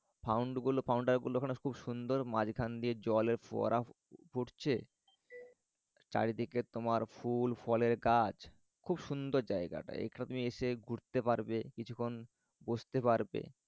found গুলো fountain গুলো খুব সুন্দর মাঝখান দিয়ে জলের ফোয়ারা ফুটছে। চারিদিকে তোমার ফুল ফলের গাছ খুব সুন্দর জায়গাটা। এখানে তুমি এসে ঘুরতে পারবে কিছুক্ষণ বসতে পারবে।